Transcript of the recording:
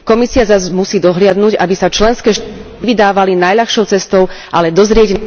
Komisia zas musí dohliadnuť, aby sa členské štáty vydávali najľahšou cestou, ale dozrieť..